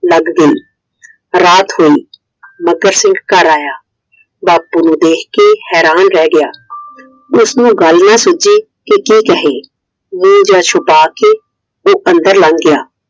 ਲੱਗ ਗਈ ਰਾਤ ਹੋਈ, ਮੱਘਰ ਸਿੰਘ ਘਰ ਆਇਆ ਬਾਪੂ ਨੂੰ ਦੇਖ ਕੇ ਹੈਰਾਨ ਰਹਿ ਗਿਆ! ਉਸ ਨੂੰ ਗੱਲ ਹੀ ਨਾ ਸੂਜੇ ਕਿ ਕੀ ਕਹੇ I ਮੂੰਹ ਜਿਹਾ ਛਿਪਾ ਕੇ ਉਹ ਅੰਦਰ ਲੱਗ ਗਿਆ I